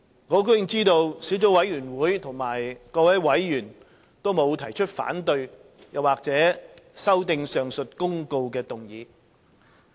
我很高興知悉，小組委員會各委員均沒有提出反對或修訂上述公告的議案。